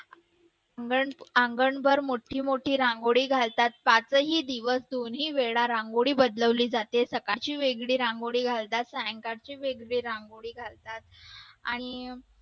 अंगण अंगणभर मोठी मोठी रांगोळी घालतात पाचही दिवस दोन्ही वेळा रांगोळी बदलवली जाते सकाळची वेगळी रांगोळी घालतात सायंकाळची वेगळी रांगोळी घालतात आणि